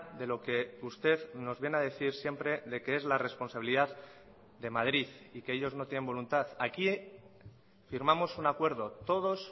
de lo que usted nos viene a decir siempre de que es la responsabilidad de madrid y que ellos no tienen voluntad aquí firmamos un acuerdo todos